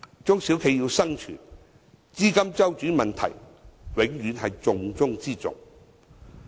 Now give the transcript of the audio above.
中小企要生存，資金周轉問題永遠是重中之重。